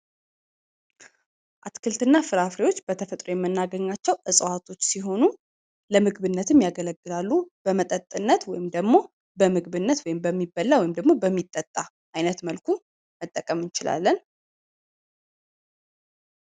አትክልት እና ፍራፍሬዎች በተፈጥሮ የምናገኛቸዉ እጽዋቶች ሲሆኑ ለምግብነት ያገለግላሉ ፣ ለምግብነት ወይም ደግሞ ለመጠጥነት ወይም በሚበላ ወይም በሚጠጣ አይነት መልኩ መጠቀም እንቺላለን።